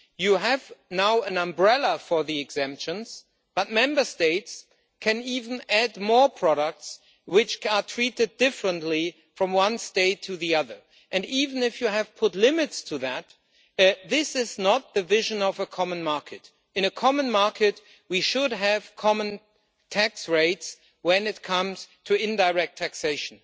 You have now an umbrella for the exemptions but Member States can even add more products which are treated differently from one state to the other, and even if you have put limits to that, this is not the vision of a common market. In a common market, we should have common tax rates when it comes to indirect taxation.